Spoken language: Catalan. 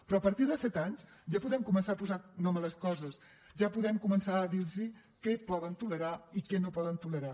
però a partir de set anys ja podem començar a posar nom a les coses ja podem començar a dir los què poden tolerar i què no poden tolerar